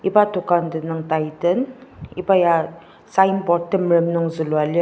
iba dokan tenüng titan iba ya signboard temerem nung zülua lir.